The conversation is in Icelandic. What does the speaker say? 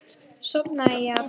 Sofnaði ég aftur?